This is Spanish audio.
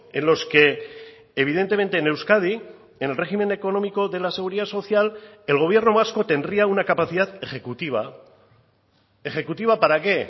en los que evidentemente en euskadi en el régimen económico de la seguridad social el gobierno vasco tendría una capacidad ejecutiva ejecutiva para qué